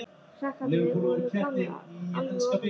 Krakkarnir voru komnir alveg ofan í hann.